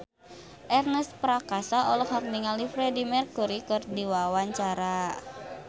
Ernest Prakasa olohok ningali Freedie Mercury keur diwawancara